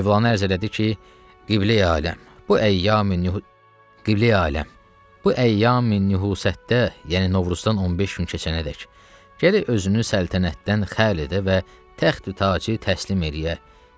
Mövlanə ərz elədi ki, Qibleyi aləm, bu əyyam Qibleyi aləm, bu əyyami nühusətdə, yəni Novruzdan 15 gün keçənədək gərək özünü səltənətdən xəl edə və təxti tacı təslim eləyə.